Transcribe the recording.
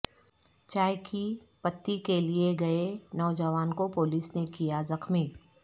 چائے کی پتی کے لئے گئے نوجوان کو پولس نے کیا زخمی